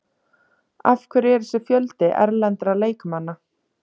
Af hverju er þessi fjöldi erlendra leikmanna?